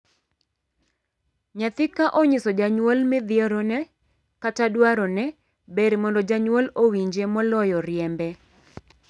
Nyathi ka onyiso janyuol midhierone kata dwarone, ber mondo janyuol owinje moloyo riembe.